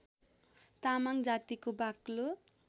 तामाङ जातिको बाक्लो